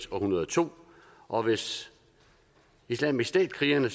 hundrede og to og hvis islamisk stat krigerne